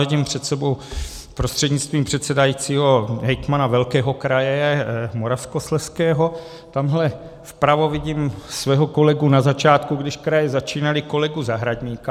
Vidím před sebou prostřednictvím předsedajícího hejtmana velkého kraje Moravskoslezského, tamhle vpravo vidím svého kolegu na začátku, když kraje začínaly, kolegu Zahradníka.